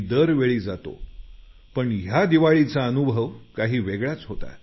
दरवेळी जातो पण या दिवाळीचा अनुभव काही वेगळाच होता